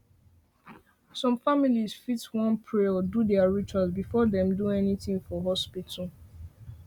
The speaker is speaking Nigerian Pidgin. some families fit want to pray or do their rituals before dem do anything for hospital